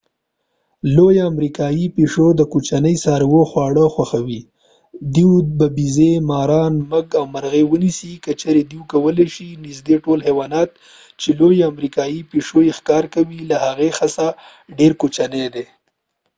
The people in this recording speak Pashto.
لويه امريكايى پيشو د کوچني څارویو خواړه خوښوي.دوی به بیزې، ماران، موږک او مرغۍ ونیسي که چیرې دوی کولی شي.نږدې ټول حيوانات چې لویه امریکایي پیشو یې ښکار کوي له هغې څخه ډیر کوچني دي